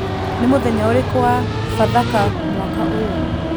Nĩ mũthenya ũrĩkũ wa Bathaka mwaka ũyũ